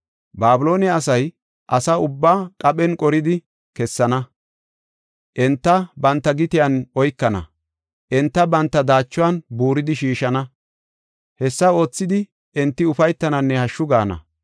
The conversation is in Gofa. Babiloone asay asa ubbaa qaphen qoridi kessana; enta banta gitiyan oykana; enta banta daachuwan buuridi shiishana; hessa oothidi enti ufaytananne hashshu gaana.